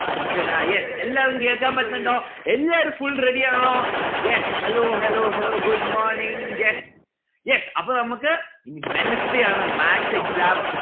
Anjana yes എല്ലാരും കേൾക്കാൻ പറ്റുന്നുണ്ടോ? എല്ലാരും full ready ആണോ? yes hello hello hello good morning. yes. yes അപ്പൊ നമ്മുക്ക് ഇനി wednesday ആണ് maths exam